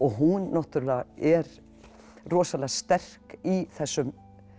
hún náttúrlega er rosalega sterk í þessum